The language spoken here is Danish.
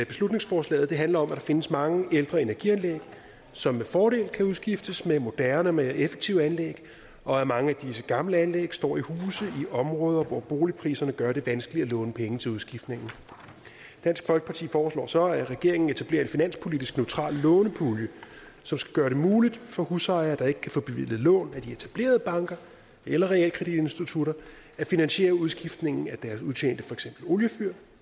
beslutningsforslaget handler om at der findes mange ældre energianlæg som med fordel kan udskiftes med moderne og mere effektive anlæg og at mange af disse gamle anlæg står i huse i områder hvor boligpriserne gør det vanskeligt at låne penge til udskiftningen dansk folkeparti foreslår så at regeringen etablerer en finanspolitisk neutral lånepulje som skal gøre det muligt for husejere der ikke kan få bevilget lån af de etablerede banker eller realkreditinstitutter at finansiere udskiftningen af deres udtjente oliefyr